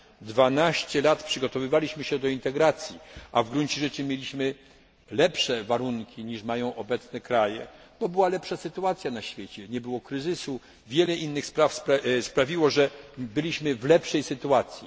lat. 12 lat przygotowywaliśmy się do integracji, a w gruncie rzeczy mieliśmy lepsze warunki niż mają obecne kraje, bo panowała lepsza sytuacja na świecie nie było kryzysu, wiele innych aspektów sprawiło, że byliśmy w lepszej sytuacji.